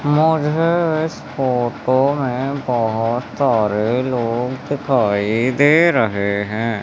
मुझे इस फोटो में बहुत सारे लोग दिखाई दे रहे हैं।